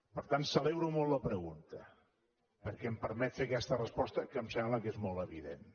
per tant celebro molt la pregunta perquè em permet fer aquesta resposta que em sembla que és molt evident